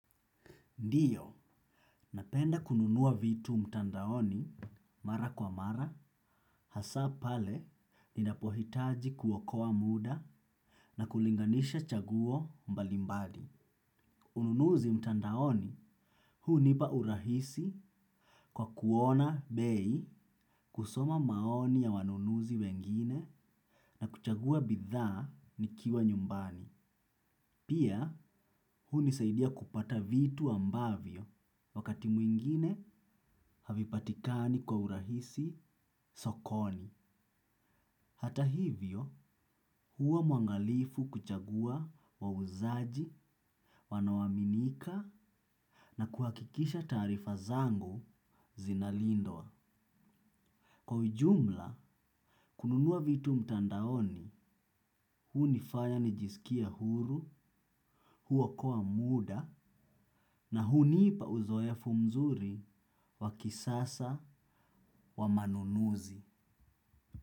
Ndio, napenda kununua vitu mtandaoni mara kwa mara, hasa pale ninapohitaji kuokoa muda na kulinganisha chaguo mbalimbadi. Ununuzi mtandaoni, hunipa urahisi kwa kuona bei, kusoma maoni ya wanunuzi wengine na kuchagua bidhaa nikiwa nyumbani. Pia, hunisaidia kupata vitu ambavyo, wakati mwingine havipatikani kwa urahisi sokoni. Hata hivyo, huwa mwangalifu kuchagua wauzaji, wanaoaminika na kuhakikisha tarifa zangu zinalindwa. Kwa ujumla, kununua vitu mtandaoni, hunifanya nijisikie huru, huokoa muda, na hunipa uzoefu mzuri, wakisasa wamanunuzi.